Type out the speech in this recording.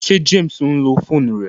Ṣé James ǹlo fóònù rẹ?